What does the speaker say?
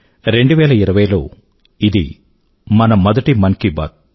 2020లో ఇది మన మొదటి మన్ కీ బాత్